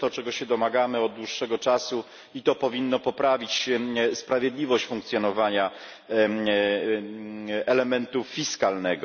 To jest to, czego się domagamy od dłuższego czasu, i to powinno poprawić sprawiedliwość funkcjonowania elementu fiskalnego.